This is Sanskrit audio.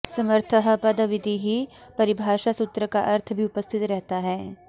समर्थः पदविधिः परिभाषा सूत्र का अर्थ भी उपस्थित रहता है